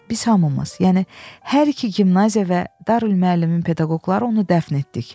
Biz hamımız, yəni hər iki gimnaziya və Darülmüəllimin pedaqoqları onu dəfn etdik.